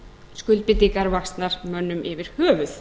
skuldbindingar vaxnar mönnum yfir höfuð